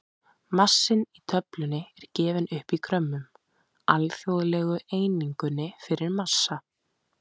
Massinn í töflunni er gefinn upp í grömmum, alþjóðlegu einingunni fyrir massa.